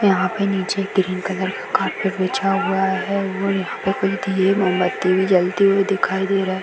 यहाँ पे नीचे ग्रीन कलर का कार्पेट बिछा हुआ है और यहाँ पे कोई दिए मोमबत्ती भी जलती हुई दिखाई दे रहे --